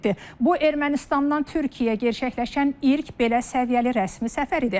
Bu Ermənistandan Türkiyəyə gerçəkləşən ilk belə səviyyəli rəsmi səfər idi.